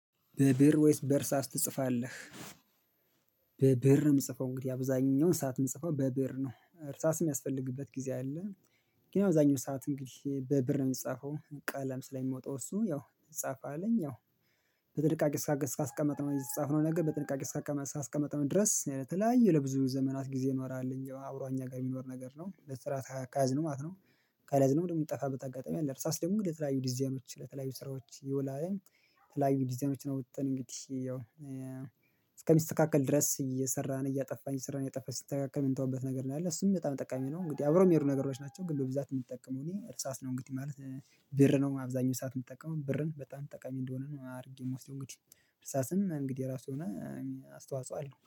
በብእር ወይስ በእርሳስ ትጽፋለህ? በብእር የምጽፈው እንግዲህ አብዛኛውን ሰዓት የምጽፈው በብእር ነው እርሳስ የሚያስፈልግበት ጊዜ አለ። ግን ያው እብዛኛው ሰዓት እንግዲህ በብእር የምጻፈው ቀለም ስለሚመውጣው እሱ ያው ትጻፋለኝ ያው በጥንቃቄ እስከ አስቀመጥነው የተጻፍነው ነገር በጥንቃቄ እስከ አስቀመጥነው ድረስ ለተለያየ ለብዙ ዘመናት ጊዜ ይኖራል አብሮ አኛ ጋር የሚኖር ነገር ነው በጥራት ከያዝን ማለት ነው። ካልያዝንም ደግሞ የሚጠፋበት አጋጣሚ አለ እርሳስ ደግሞ ለተለያዩ ዲዛይኖች ለተለያዩ ስራዎች ይውላል። የተለያዩ ዲዛይኖችን አውጥተን እስከሚስተካከል ድረስ እየሰራን እያጠፋን እየሰራን እየጠፋ ሲተካከል የምንተዋበት ነገር ነው ያለው እሱም በጣም ጠቃሚ ነው። እንግዲህ አብረው የሚሄዱ ነገሮች ናቸው ግን በብዛት የምጠቀመው እኔ እርሳስ ነው እንግዲህ ማለት ብእር ነው። አብዛኛው ሰዓት የምትጠቀመው ብርን በጣም ጠቃሚ እንደሆነ ነው አድርጌ ምወስደው እንግዲህ እርሳስም እንግዲህ የራሱ የሆነ አስተዋጽኦ አለው